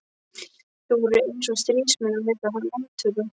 Þeir voru eins og stríðsmenn að leita landtöku.